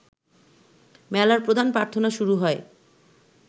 মেলার প্রধান প্রার্থনা শুরু হয়